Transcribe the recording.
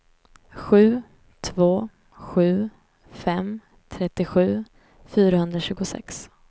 sju två sju fem trettiosju fyrahundratjugosex